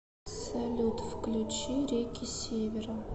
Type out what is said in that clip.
салют включи реки севера